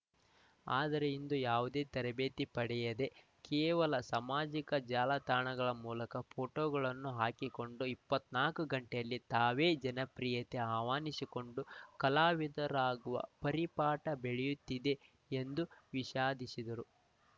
ಆದರೆ ಇಂದು ಯಾವುದೇ ತರಬೇತಿ ಪಡೆಯದೆ ಕೇವಲ ಸಾಮಾಜಿಕ ಜಾಲತಾಣಗಳ ಮೂಲಕ ಪೋಟೋಗಳನ್ನು ಹಾಕಿಕೊಂಡು ಇಪ್ಪತ್ತ್ ನಾಕು ಗಂಟೆಯಲ್ಲಿ ತಾವೇ ಜನಪ್ರಿಯತೆ ಆಹ್ವಾನಿಸಿಕೊಂಡು ಕಲಾವಿದರಾಗುವ ಪರಿಪಾಠ ಬೆಳೆಯುತ್ತಿದೆ ಎಂದು ವಿಷಾದಿಸಿದರು